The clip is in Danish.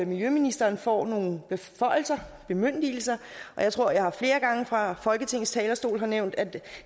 miljøministeren får nogle bemyndigelser jeg tror at jeg flere gange fra folketingets talerstol har nævnt at det